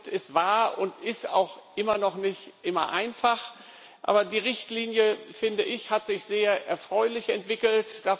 Es war und ist auch immer noch nicht immer einfach, aber die Richtlinie hat sich sehr erfreulich entwickelt.